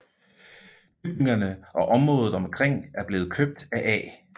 Bygningerne og området omkring er blevet købt af A